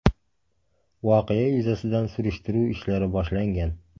Voqea yuzasidan surishtiruv ishlari boshlangan.